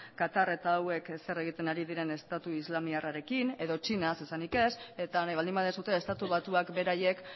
katar eta hauek zer egiten ari diren estatu islamiarrarekin edo txina zer esanik ez eta nahi baldin baduzue estatu batuak beraiek